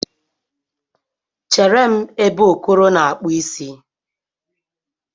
Chere m ebe Okoro na-akpụ isi